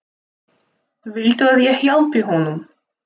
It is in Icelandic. Viltu að ég hjálpi honum?